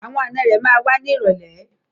Àwọn ànọ́ rẹ̀ ma wá ní ìrọ̀lẹ́.